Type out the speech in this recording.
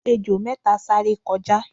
ejò méta sáré kọjá